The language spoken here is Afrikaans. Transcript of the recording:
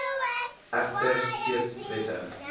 egter steeds wettig